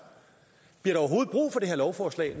lovforslag